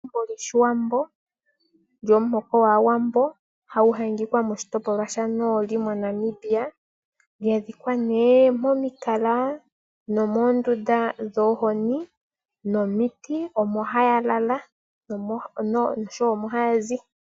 Egumbo lwoshiwambo, lyomuhoko gwaawambo, hagu adhika moshitopolwa shanooli moNamibia, lya dhikwa nee momikala nomoondunda dhoohozi nomiti omo haya lala noshowo omo haya zi.